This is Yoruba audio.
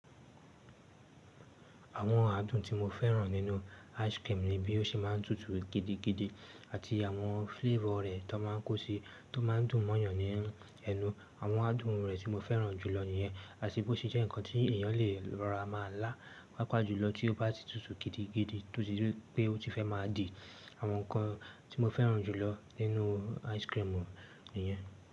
Àwọn àádùn tí mo fẹ́ràn nínú ice cream ni bí ó ṣe máa ń tutù gidigidi àti àwọn flavor rẹ̀ tó máa ń kó sí, tó máa ń dùn mọ́yàn ní ẹnu. Àwọn àádùn rẹ̀ tí mo fẹ́ràn jùlọ nìyẹn. Àti bó ṣe jẹ́ ǹkan tí èèyàn lè lọra má ń lá, pàápàá jùlọ tí ó bá ti tutù gidigidi tó ti jé pé ó ti fẹ́ má a dì. Àwọn ǹkan tí mo fẹ́ràn jùlọ nínú ice cream mu nìyẹn.